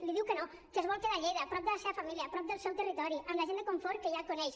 li diu que no que es vol quedar a lleida prop de la seva família prop del seu territori amb la gent de confort que ja coneix